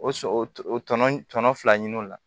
O sɔ tɔnɔ tɔnɔ fila ɲini o la